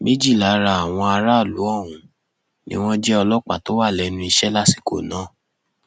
méjì lára àwọn aráàlú ọhún ni wọn jẹ ọlọpàá tó wà lẹnu iṣẹ lásìkò náà